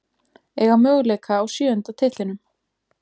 Eiga möguleika á sjöunda titlinum